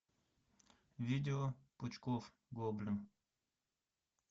видео пучков гоблин